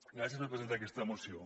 gràcies per presentar aquesta moció